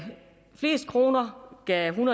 flest kroner gav en